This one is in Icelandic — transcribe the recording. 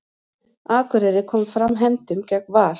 Akureyri kom fram hefndum gegn Val